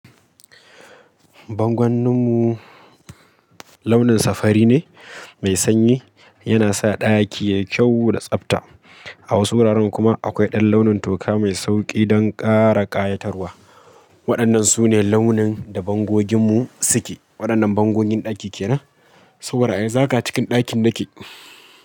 Bangonninmu launin safari ne mai sanyi, yana sa ɗaki yayi kyau da tsabta. A wasu wuraren kuma akwai ɗan launin toka mai sauƙi don ƙara ƙayatarwa. Waɗannan sune launin da bangoginmu suke. Waɗannan bangogin ɗaki kenan? So bar ai, zaka cikin ɗakin nake.